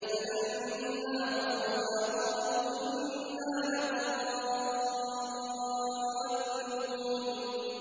فَلَمَّا رَأَوْهَا قَالُوا إِنَّا لَضَالُّونَ